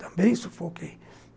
Também sufoquei.